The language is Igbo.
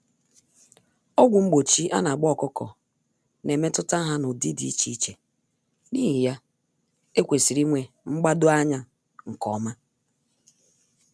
Ọgwụ mgbochi anagba ọkụkọ n'emetụta ha n'ụdị dị iche iche, n'ihi ya, ekwesịrị ịnwe mgbado-anya nke ọma